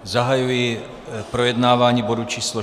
Zahajuji projednávání bodu číslo